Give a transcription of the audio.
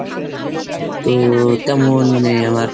তো তেমন মানে আমার